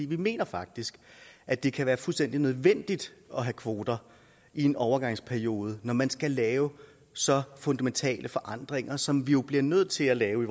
vi mener faktisk at det kan være fuldstændig nødvendigt at have kvoter i en overgangsperiode når man skal lave så fundamentale forandringer som vi jo optik bliver nødt til at lave